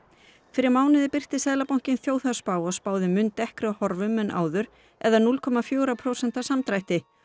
fyrir mánuði birti Seðlabankinn þjóðhagsspá og spáði mun dekkri horfum en áður eða núll komma fjögurra prósenta samdrætti